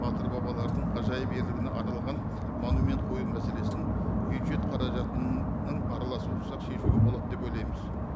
батыр бабалардың ғажайып ерлігіне арналған монумент қою мәселесін бюджет қаражатының араласуысыз ақ шешуге болады деп ойлаймыз